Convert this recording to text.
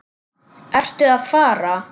Ertu að fara?